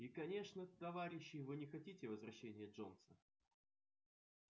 и конечно товарищи вы не хотите возвращения джонса